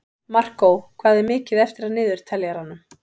Markó, hvað er mikið eftir af niðurteljaranum?